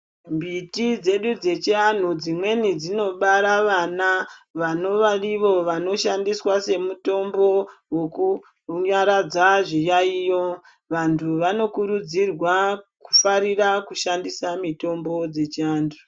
Mbiti dzedu dzechiantu dzimweni dzinobara vana vanova ivo dzinoshandiswa semutombo wekunyaradza zviyaiyo vantu vanokurudzirea kufarira kushandisa mutombo dzechiantu.